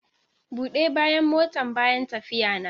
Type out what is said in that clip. Bude bayan motan bayan tafiyana.